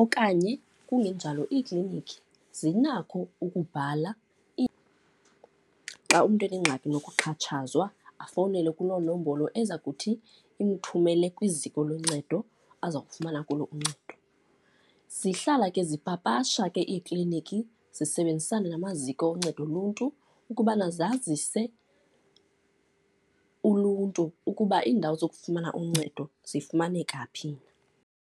Okanye kungenjalo iikliniki zinakho ukubhala xa umntu enengxaki nokuxhatshazwa, afowunele kuloo nombolo eza kuthi imthumele kwiziko loncedo aza kufumana kulo uncedo. Zihlala ke zipapasha ke ekliniki zisebenzisane namaziko oncedo uluntu ukubana zazise uluntu ukuba iindawo zokufumana uncedo zifumaneka phi.